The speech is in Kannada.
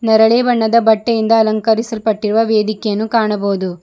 ನೆರಳೆ ಬಣ್ಣದ ಬಟ್ಟೆಯಿಂದ ಅಲಂಕರಿಸಲ್ಪಟ್ಟಿರುವ ವೇದಿಕೆಯನ್ನು ಕಾಣಬಹುದು.